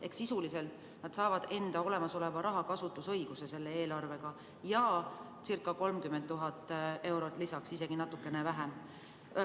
Ehk sisuliselt nad saavad selle eelarvega enda olemasoleva raha kasutusõiguse ja circa 30 000 eurot lisaks, isegi natukene vähem ...